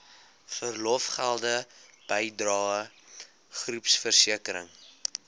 verlofgelde bydrae groepversekering